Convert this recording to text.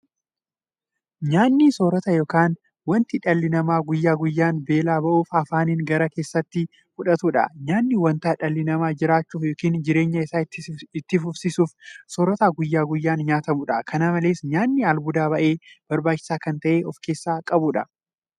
Nyaanni soorata yookiin wanta dhalli namaa guyyaa guyyaan beela ba'uuf afaaniin gara keessaatti fudhatudha. Nyaanni wanta dhalli namaa jiraachuuf yookiin jireenya isaa itti fufsiisuuf soorata guyyaa guyyaan nyaatamudha. Kana malees nyaanni albuuda baay'ee barbaachisaa ta'e kan ofkeessaa qabuudha.